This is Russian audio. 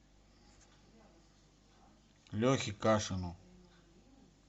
лехе кашину